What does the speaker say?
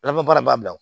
La baara b'a bila